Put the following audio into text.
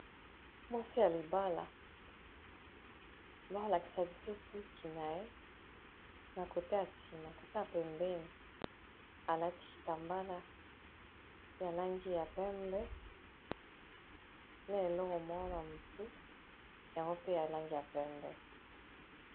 mwasi ya libala balakisa biso suki na ye na kota a nsima kota pembeini alati tambala ya langi ya pembe na eloro mwana motu yango pe alangi ya pembe